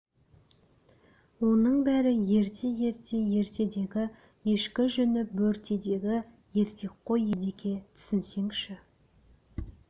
оның бәрі ерте-ерте ертедегі ешкі жүні бөртедегі ертек қой едеке түсінсеңші